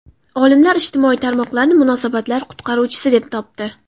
Olimlar ijtimoiy tarmoqlarni munosabatlar qutqaruvchisi deb topdi.